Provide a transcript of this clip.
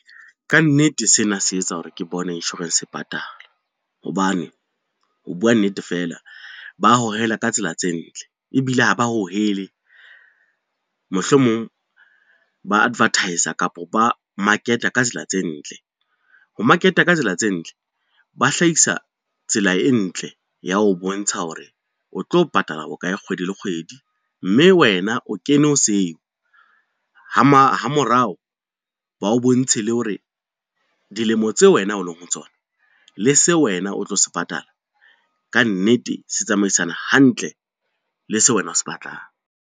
Ka nnete sena se etsa hore ke bone insurance patala, hobane ho bua nnete feela ba hohela ka tsela tse ntle ebile ha ba hohele mohlomong, ba advertis-a kapa ba market-a ka tsela tse ntle. Ho market-a ka tsela tse ntle ba hlahisa tsela e ntle ya ho bontsha hore o tlo patala bokae kgwedi le kgwedi, mme wena o kene ho seo ha morao ba o bontshe le hore dilemo tseo wena o leng ho tsona, le seo wena o tlo se patala, ka nnete se tsamaisana hantle le seo wena o se batlang.